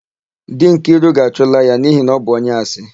Di Nkiru ga-achụla ya n'ihi na ọ bụ onye asị.